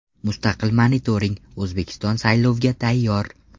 Mustaqil monitoring: O‘zbekiston saylovga tayyor.